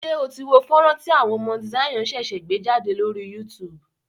Ṣé o tí wo fọ́nrán tí àwọn Mount Zion ṣẹ̀ṣẹ̀ gbé jádè lórí YouTube?